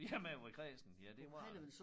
Ja med at være kræsen ja det var det